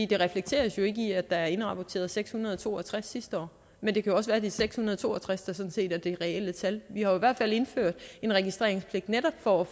det reflekteres jo ikke i at der er indrapporteret seks hundrede og to og tres sidste år men det kan også er de seks hundrede og to og tres der sådan set er det reelle tal vi har hvert fald indført en registreringspligt netop for at